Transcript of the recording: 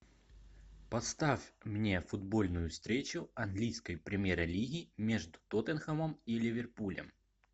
поставь мне футбольную встречу английской премьер лиги между тоттенхэмом и ливерпулем